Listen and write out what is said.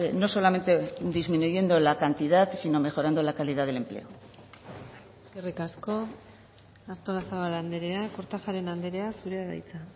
no solamente disminuyendo la cantidad sino mejorando la calidad del empleo eskerrik asko artolazabal andrea kortajarena andrea zurea da hitza